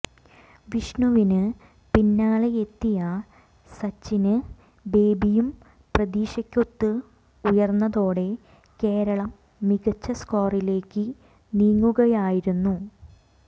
വിഷ്ണുവിന് പിന്നാലെയെത്തിയ സച്ചിന് ബേബിയും പ്രതീക്ഷയ്ക്കൊത്ത് ഉയര്ന്നതോടെ കേരളം മികച്ച സ്കോറിലേക്ക് നീങ്ങുകയായിരുന്നു